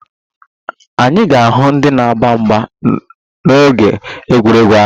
Anyị ga-ahụ ndị na-agba mgba n'oge egwuregwu ahụ